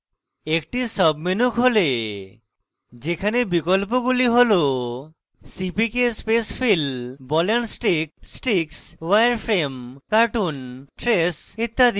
একটি sub menu খোলে যেখানে বিকল্পগুলি ball cpk spacefill ball and stick sticks wireframe cartoon trace ইত্যাদি